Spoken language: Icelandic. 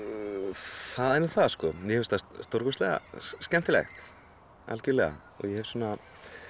það er nú það sko mér finnst það stórkostlega skemmtilegt algjörlega og ég hef svona